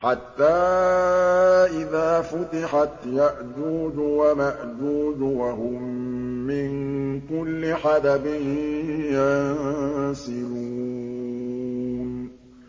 حَتَّىٰ إِذَا فُتِحَتْ يَأْجُوجُ وَمَأْجُوجُ وَهُم مِّن كُلِّ حَدَبٍ يَنسِلُونَ